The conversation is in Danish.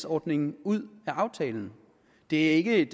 ordningen ud af aftalen det er ikke et